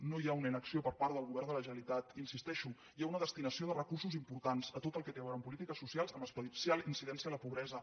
no hi ha una inacció per part del govern de la generalitat hi insisteixo hi ha una des·tinació de recursos important a tot el que té a veure amb polítiques socials amb especial incidència en la pobresa